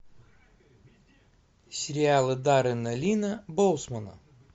сериалы даррена линна боусмана